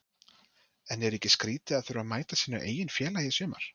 En er ekki skrítið að þurfa að mæta sínu eigin félagi í sumar?